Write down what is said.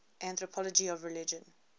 anthropology of religion